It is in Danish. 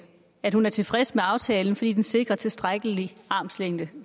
at hun er tilfreds med aftalen fordi den sikrer tilstrækkelig armslængde